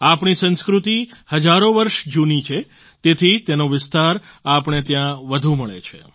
આપણી સંસ્કૃતિ હજારો વર્ષ જૂની છે તેથી તેનો વિસ્તાર આપણે ત્યાં વધુ મળે છે